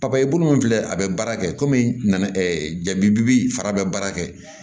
papaye bulu min filɛ a be baara kɛ kɔmi ɛ jabi bi fara a be baara kɛ